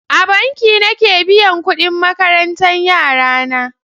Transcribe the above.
A banki nake biyan kudin makarantan yarana.